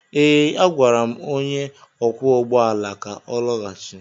Ee, agwara m onye ọkwọ ụgbọ ala ka ọ lọghachi.